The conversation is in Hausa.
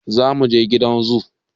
Za muje gidan zoo